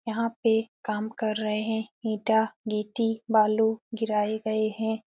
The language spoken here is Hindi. यहाँ पे काम कर रहे हैं। ईटा गिट्टी बालू गिराए गए हैं।